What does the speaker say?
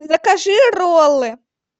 закажи роллы